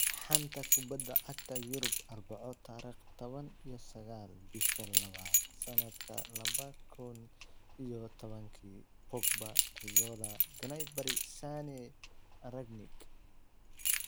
Xanta Kubadda Cagta Yurub Arbaco tariq taban iyo sagal, bisha labad, sanadka laba kun iyo labatanki: Pogba, Raiola, Gnabry, Sane, Rangnick